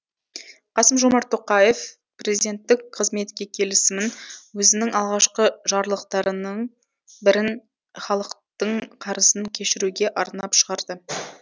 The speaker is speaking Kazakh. қасым жомарт тоқаев президенттік қызметке келісімін өзінің алғашқы жарлықтарының бірін халықтың қарызын кешіруге арнап шығарды